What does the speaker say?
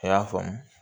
A y'a faamu